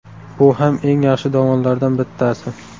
Bu ham eng yaxshi davonlardan bittasi.